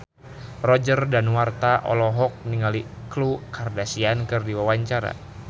Roger Danuarta olohok ningali Khloe Kardashian keur diwawancara